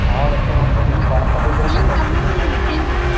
ನಾವ ಒಟ್ಟ ನಮ್ಮ friends birthday ಇದ್ರು ಸಹಿತ ಹೋಗಿಲ್ರಿ ನಾವ.